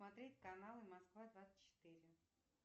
смотреть каналы москва двадцать четыре